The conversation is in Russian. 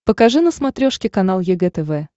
покажи на смотрешке канал егэ тв